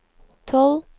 tolv